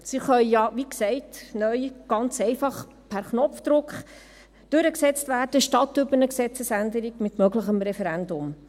Sie können ja, wie gesagt, neu ganz einfach per Knopfdruck durchgesetzt werden statt über eine Gesetzesänderung mit möglichem Referendum.